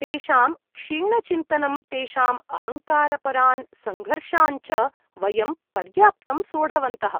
तेषां क्षीणचिन्तनं तेषाम् अहङ्कारपरान् संघर्षान् च वयं पर्याप्तं सोढवन्तः।